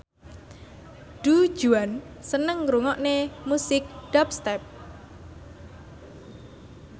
Du Juan seneng ngrungokne musik dubstep